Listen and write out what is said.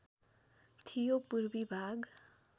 थियो पूर्वी भाग